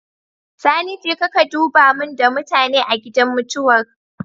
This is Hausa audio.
Sani jeka ka duba mun da mutane a gidan mutuwar